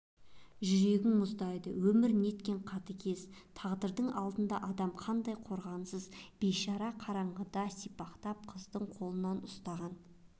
жүрегің мұздайды өмір неткен қатыгез тағдырдың алдында адам қандай қорғансыз бейшара қараңғыда сипалақтап қыздың қолынан ұстаған